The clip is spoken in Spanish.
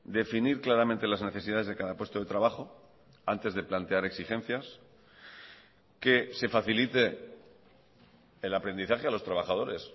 definir claramente las necesidades de cada puesto de trabajo antes de plantear exigencias que se facilite el aprendizaje a los trabajadores